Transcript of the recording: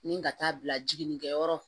Ni ka taa bila jiginnikɛyɔrɔ